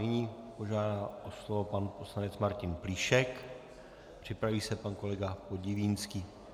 Nyní požádal o slovo pan poslanec Martin Plíšek, připraví se pan kolega Podivínský.